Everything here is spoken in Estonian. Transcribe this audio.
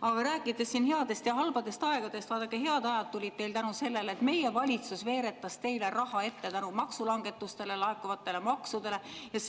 Aga rääkides siin headest ja halbadest aegadest, siis vaadake, head ajad tulid teil tänu sellele, et meie valitsus veeretas teile raha ette tänu maksulangetusest laekuvatele maksudele, ja